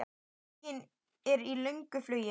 Huginn er í löngu flugi.